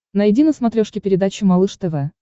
найди на смотрешке передачу малыш тв